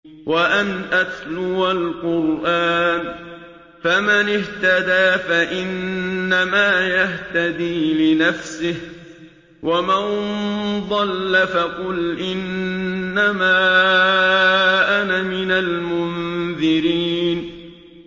وَأَنْ أَتْلُوَ الْقُرْآنَ ۖ فَمَنِ اهْتَدَىٰ فَإِنَّمَا يَهْتَدِي لِنَفْسِهِ ۖ وَمَن ضَلَّ فَقُلْ إِنَّمَا أَنَا مِنَ الْمُنذِرِينَ